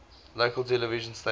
local television stations